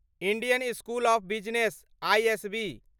Indian school of business ISB